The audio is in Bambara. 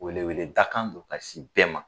Wele wele dakan do ka sin bɛɛ ma.